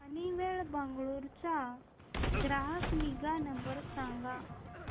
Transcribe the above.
Honeywell Bengaluru चा ग्राहक निगा नंबर सांगा